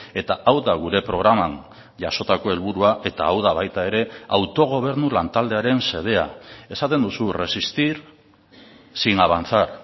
eta hau da gure programan jasotako helburua eta hau da baita ere autogobernu lantaldearen xedea esaten duzu resistir sin avanzar